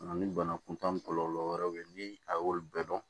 Nka ni bana kuntaa kɔlɔlɔ wɛrɛw bɛ ye ni a y'olu bɛɛ dɔn